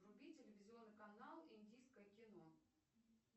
вруби телевизионный канал индийское кино